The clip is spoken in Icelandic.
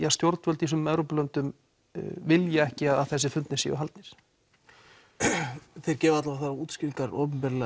að stjórnvöld í þessum Evrópulöndum vilja ekki að þessir fundir séu haldnir þeir gefa þær útskýringar opinberlega